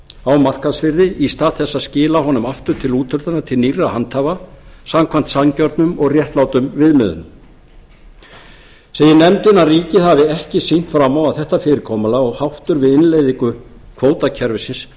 á markaðsvirði í stað þess að skila honum aftur til úthlutunar til nýrra handhafa samkvæmt sanngjörnum og réttlátum viðmiðunum segir nefndin að ríkið hafi ekki sýnt fram á að þetta fyrirkomulag og háttur við innleiðingu kvótakerfisins